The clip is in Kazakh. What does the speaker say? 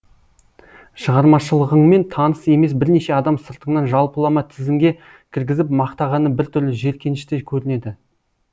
шығармашылығыңмен таныс емес бірнеше адам сыртыңнан жалпылама тізімге кіргізіп мақтағаны біртүрлі жеркенішті көрінеді